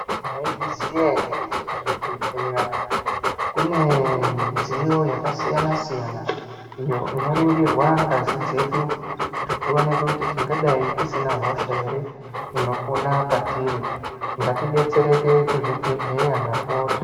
Mwaizviziya ere kuti kuzvibhehleya kune midziyo yakasiyana siyana inoringirwa ngazi dzeku kuti tingadai tisina hosha here inopona patiri ngatidetsereke kuzvibhehleya ndapota.